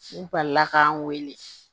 N balila k'an weele